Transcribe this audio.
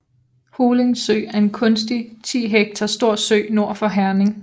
Holing Sø er en kunstig 10 hektar stor sø nord for Herning